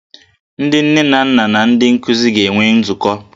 Ndị nne na nna na ndị nkuzi ga-enwe nzukọ